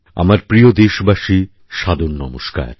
আমারপ্রিয় দেশবাসী সাদর নমস্কার